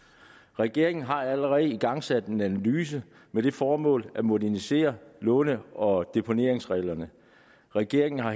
regeringen har allerede igangsat en analyse med det formål at modernisere låne og deponeringsreglerne regeringen har